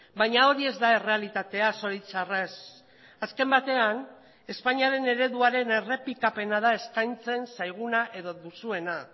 baina hori ez da errealitatea zoritxarrez azken batean espainiaren ereduaren errepikapena da eskaintzen zaiguna edo duzuena